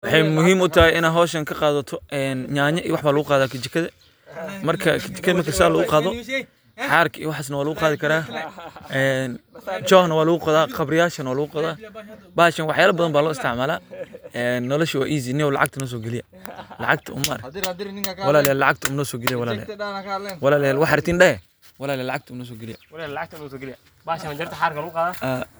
Waxaa in aa hoshan ka qadato nyanya iyo waxas aya lagu qata kajikada marka carka iyo waxas iyo aya lagu qadhaa Mark qabriya aya lagu qodha Mark walaliyal lacagta nosogaliya.